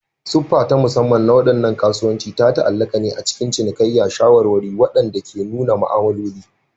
Siffa ta musamman na waɗannan kasuwannin ta ta'allaka ne a cikin cinikayya da shawarwari waɗanda ke nuna ma'amaloli.